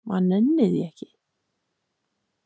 Maður nennir því ekki